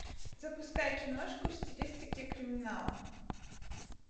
запускай киношку в стилистике криминала